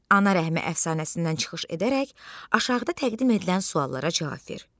Ana rəhmi əfsanəsindən çıxış edərək aşağıda təqdim edilən suallara cavab ver.